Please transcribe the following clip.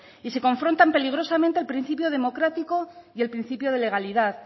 y se confrontan peligrosamente el principio democrático y el principio de legalidad